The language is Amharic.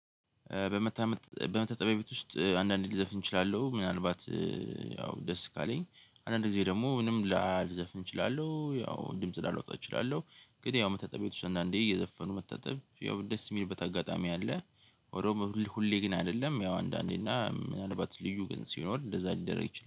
በመታመጥ በመታጠቢያ ቤት ውስጥ አንዳንዴ ልዘፍን እችላለሁ ምናልባት ያው ደስ ካለኝ አንዳንዴ ደግሞ ምንም ላልዘፍን እችላለሁ ያው ድምጽ ላላወጣ እችላለሁ። ግን ያው መታጠብ ቤት ውስጥ እና እንዳንዴ እየዘፈኑ መታጠብ ያው ደስ የሚልበት አጋጣሚ አለ። ወደው ሁሌ ግን አይደለም ያው አንዳንዴ እና ምናልባት ልዩ ግን ሲኖር እንደዛ ሊደረግ ይችላል